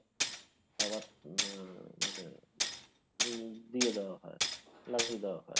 আহ উম দিয়ে দেওয়া হয় লাগিয়ে দেওয়া হয়